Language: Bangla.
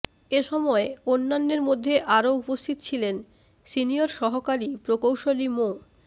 এ সময় অন্যান্যের মধ্যে আরো উপস্থিত ছিলেন সিনিয়র সহকারি প্রকৌশলী মো